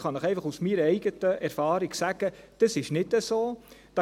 Ich kann Ihnen aus meiner Erfahrung sagen, dass dem nicht so ist.